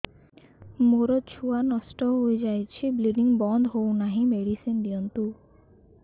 ମୋର ଛୁଆ ନଷ୍ଟ ହୋଇଯାଇଛି ବ୍ଲିଡ଼ିଙ୍ଗ ବନ୍ଦ ହଉନାହିଁ ମେଡିସିନ ଦିଅନ୍ତୁ